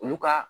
Olu ka